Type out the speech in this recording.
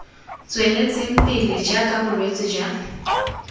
tsweletseng pele jaaka bolwetse jwa